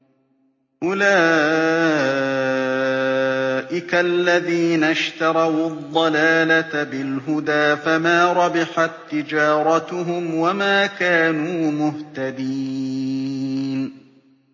أُولَٰئِكَ الَّذِينَ اشْتَرَوُا الضَّلَالَةَ بِالْهُدَىٰ فَمَا رَبِحَت تِّجَارَتُهُمْ وَمَا كَانُوا مُهْتَدِينَ